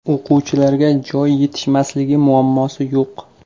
O‘quvchilarga joy yetishmasligi muammosi yo‘q.